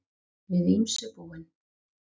Við ýmsu búin